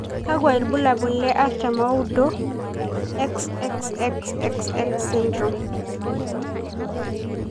Kakwa ibulabul le artam oudo, XXXXX syndrome?